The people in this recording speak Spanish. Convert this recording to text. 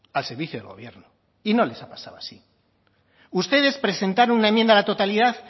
al servicio del gobierno y no les ha pasado así ustedes presentaron una enmienda a la totalidad